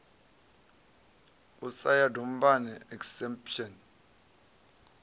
u sa ya dombani exemption